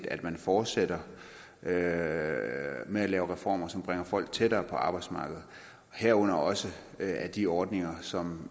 at man fortsætter med med at lave reformer som bringer folk tættere på arbejdsmarkedet herunder også af de ordninger som